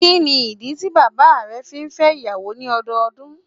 Kíni ìdí tí bàbá rẹ fi n fẹ́ ìyàwó ní ọdọọdún